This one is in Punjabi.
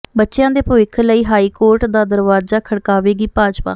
ਬੱਚਿਆਂ ਦੇ ਭਵਿੱਖ ਲਈ ਹਾਈਕੋਰਟ ਦਾ ਦਰਵਾਜ਼ਾ ਖੜਕਾਵੇਗੀ ਭਾਜਪਾ